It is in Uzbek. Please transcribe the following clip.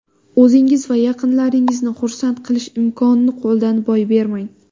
O‘zingiz va yaqinlaringizni xursand qilish imkonini qo‘ldan boy bermang!